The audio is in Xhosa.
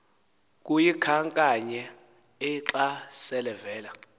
kuyikhankanyaee xa selevela